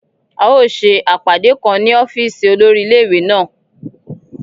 A o ṣè apádẹ̀ kán ní ọ̀fíìsì olórí ilẹ̀-iwé na.